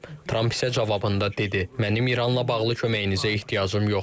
Tramp isə cavabında dedi: Mənim İranla bağlı köməyinizə ehtiyacım yoxdur.